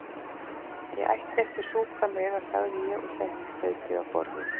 Ég ætti ekki að súpa meira sagði ég og setti staupið á borðið.